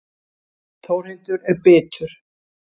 Þórhildur er bitur.